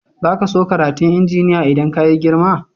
Zaka so karatun injiniya idan ka yi girma?